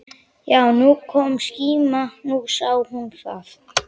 Já, nú kom skíma, nú sá hún það!